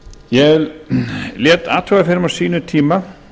ég lét athuga fyrir mig á sínum tíma